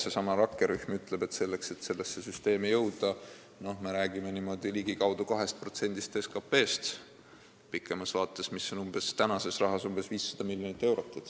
Seesama rakkerühm ütleb, et selleks, et selleni jõuda, tuleks rääkida ligikaudu 2%-st SKT-st pikemas vaates, mis on tänases rahas umbes 500 miljonit eurot.